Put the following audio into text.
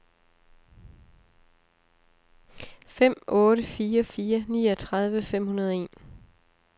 fem otte fire fire niogtredive fem hundrede og en